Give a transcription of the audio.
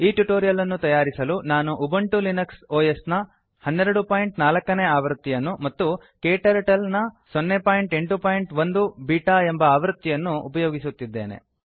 ಈ ಟ್ಯುಟೋರಿಯಲ್ ಅನ್ನು ತಯಾರಿಸಲು ನಾನು ಉಬಂಟು ಲಿನಕ್ಸ್ ಒಎಸ್ ನ 1204 ನೇ ಆವೃತ್ತಿಯನ್ನು ಮತ್ತು ಕ್ಟರ್ಟಲ್ 081 ಬೀಟಾ ಎಂಬ ಆವೃತ್ತಿಯನ್ನು ಉಪಯೋಗಿಸುತ್ತಿದ್ದೇನೆ